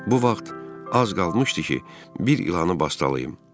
Bu vaxt az qalmışdı ki, bir ilanı bastalayıb.